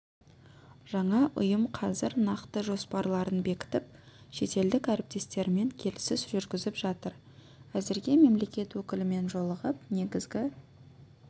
жаңа ұйым қазір нақты жоспарларын бекітіп шетелдік әріптестерімен келіссөз жүргізіп жатыр әзірге мемлекет өкілімен жолығып негізгі